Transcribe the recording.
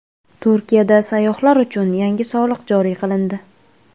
Turkiyada sayyohlar uchun yangi soliq joriy qilindi.